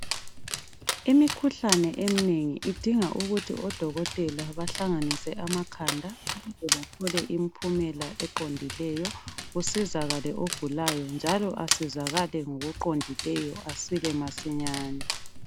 Imikhuhlane eminengi idinga ukuthi odokotela bahlanganise amakhanda. Ukuze bethole impumela eqondileyo kusizakale ogulayo njalo asizakale ngokuqondileyo. Asile masinyane.